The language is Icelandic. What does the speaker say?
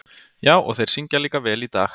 Já, og þeir syngja líka vel í dag.